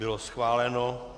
Bylo schváleno.